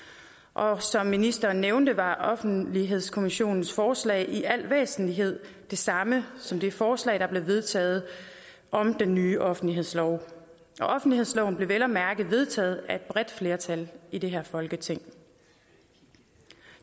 og som ministeren nævnte var offentlighedskommissionens forslag i al væsentlighed det samme som det forslag der blev vedtaget om den nye offentlighedslov og offentlighedsloven blev vel at mærke vedtaget af et bredt flertal i det her folketing